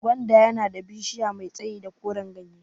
Gwanda yana da bishiya mai tsayi da koran gyanye